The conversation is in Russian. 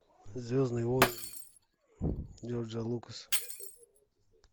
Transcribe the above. звездные войны джорджа лукаса